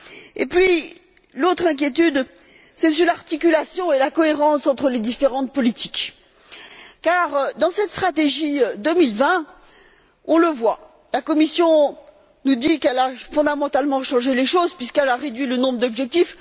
Et puis, l'autre inquiétude porte sur l'articulation et la cohérence entre les différentes politiques car, dans cette stratégie 2020, on le voit, la Commission nous dit qu'elle a fondamentalement changé les choses, puisqu'elle a réduit le nombre d'objectifs.